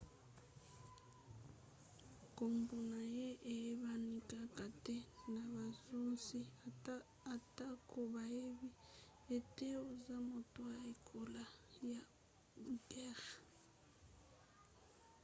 nkombo na ye eyebani kaka te na bakonzi atako bayebi ete aza moto ya ekolo ya uighur